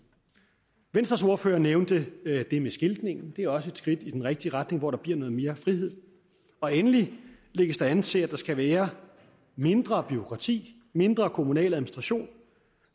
venstres ordfører nævnte det med skiltningen det er også et skridt i den rigtige retning hvor der bliver noget mere frihed og endelig lægges der an til at der skal være mindre bureaukrati mindre kommunal administration